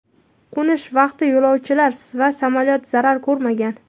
Qo‘nish vaqti yo‘lovchilar va samolyot zarar ko‘rmagan.